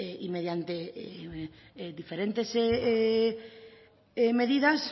y mediante diferentes medidas